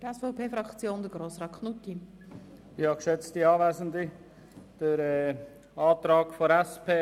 Der Antrag der SPJUSO-PSA zu Artikel 9 Absatz 1